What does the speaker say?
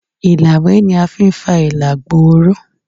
ilawé ní afí n fá ilà gbooró